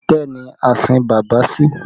Itẹ́ ni a sin bàbá sí